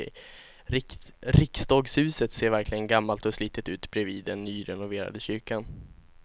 Riksdagshuset ser verkligen gammalt och slitet ut bredvid den nyrenoverade kyrkan.